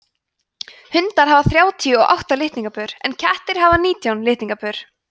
hundar hafa þrjátíu og átta litningapör en kettir hafa nítján litningapör